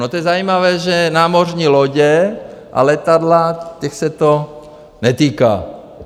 No, to je zajímavé, že námořní lodě a letadla, těch se to netýká.